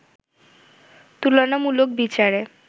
তুলনামুলক বিচারে